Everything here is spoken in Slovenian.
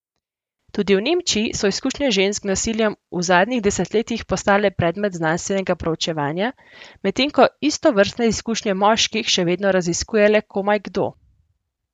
Tudi v Nemčiji so izkušnje žensk z nasiljem v zadnjih desetletjih postale predmet znanstvenega proučevanja, medtem ko istovrstne izkušnje moških še vedno raziskuje le komaj kdo.